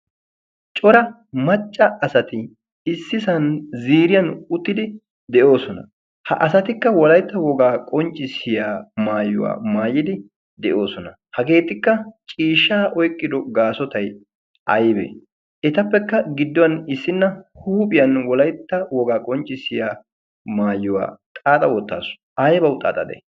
Cora macca asati issisan ziriyan uttidi de'oosona. Ha asatikka wolaytta wogaa qonccissiya maayuwaa maayidi de'oosona. Hageetikka ciishsha oiqyido gaasotay aybee? Etappekka gidduwan issinna huuphiyan wolaytta wogaa qonccissiya maayuwaa xaaxa wottaasu. Aybawu xaaxade?